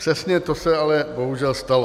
Přesně to se ale bohužel stalo.